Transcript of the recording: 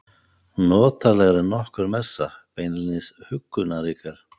Notalegri en nokkur messa, beinlínis huggunarríkar.